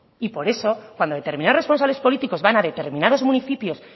y por eso cuando determinados responsables políticos van a determinados municipios